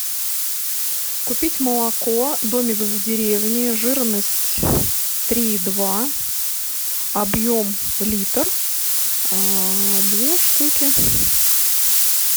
купить молоко домик в деревне жирность три и два объем литр две штуки